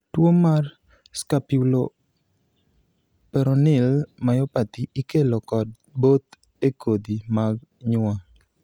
tuo mar scapuloperoneal myopathy ikelo kod both e kodhi mag nyuol